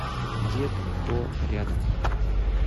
дед хо рядом